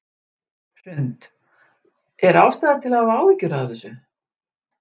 Hrund: Er ástæða til að hafa áhyggjur af þessu?